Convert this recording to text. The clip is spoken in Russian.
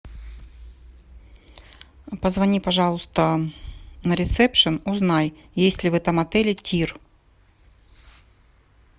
позвони пожалуйста на ресепшен узнай есть ли в этом отеле тир